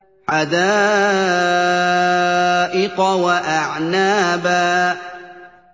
حَدَائِقَ وَأَعْنَابًا